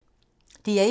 DR1